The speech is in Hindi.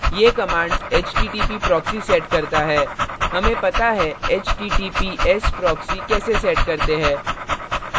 ये कमाण्ड्स http proxy सेट करता है हमें पता है https proxy कैसे सेट करते है